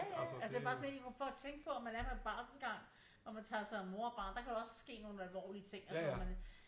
Ja ja altså det bare sådan helt for at tænke på om man er på en barselsgang og man tager sig af mor og barn der kan også ske nogle alvorlige ting